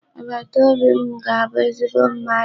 Agbataobi m ga-abu ezigbo mmadụ.